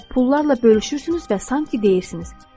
Pullarla bölüşürsünüz və sanki deyirsiniz: